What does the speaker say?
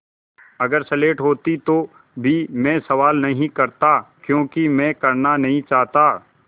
अगर स्लेट होती तो भी मैं सवाल नहीं करता क्योंकि मैं करना नहीं चाहता